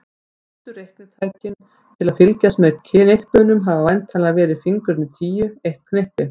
Fyrstu reiknitækin til að fylgjast með knippunum hafa væntanlega verið fingurnir tíu, eitt knippi.